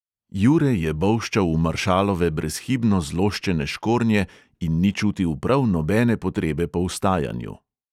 Jure je bolščal v maršalove brezhibno zloščene škornje in ni čutil prav nobene potrebe po vstajanju.